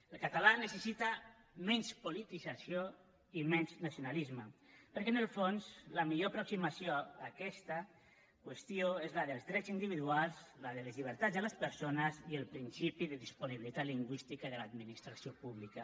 el català necessita menys politització i menys nacionalisme perquè en el fons la millor aproximació a aquesta qüestió és la dels drets individuals la de les llibertats de les persones i el principi de disponibilitat lingüística de l’administració pública